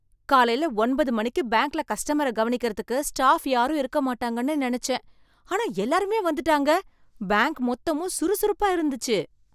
காலைல ஒன்பது மணிக்கு பேங்க்ல கஸ்டமர கவனிக்கிறதுக்கு ஸ்டாஃப் யாரும் இருக்க மாட்டாங்கன்னு நெனைச்சேன், ஆனா எல்லாருமே வந்துட்டாங்க, பேங்க் மொத்தமும் சுறுசுறுப்பா இருந்துச்சு.